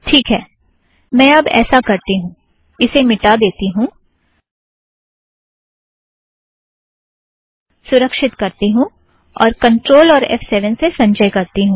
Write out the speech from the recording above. ठीक है मैं अब ऐसा करती हूँ - इसे मिठा देती हूँ सुरक्षित करती हूँ और कंट्रोल और एफ़ सेवन से संचय करती हूँ